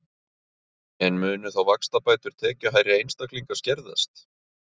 En munu þá vaxtabætur tekjuhærri einstaklinga skerðast?